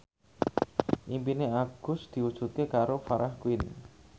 impine Agus diwujudke karo Farah Quinn